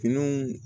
Finiw